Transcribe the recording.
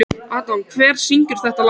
Adam, hver syngur þetta lag?